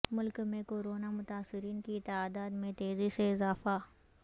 ملک میں کورونا متاثرین کی تعداد میں تیزی سے اضافہ